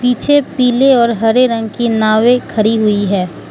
पीछे पीले और हरे रंग की नावे खड़ी हुई है।